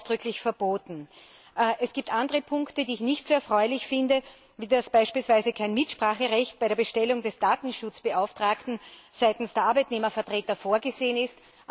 Das ist ausdrücklich verboten. Es gibt andere Punkte, die ich nicht so erfreulich finde, wie beispielsweise die Tatsache, dass kein Mitspracherecht bei der Bestellung des Datenschutzbeauftragten seitens der Arbeitnehmervertreter vorgesehen ist.